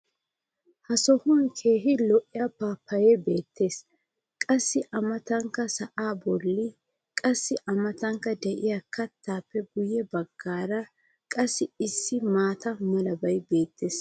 ha sohuwan keehi lo'iya paappayee beetees. qassi a matankka sa"aa boli qassi a matankka diya keettaappe guye bagaara qassi issi maata malabay beetees.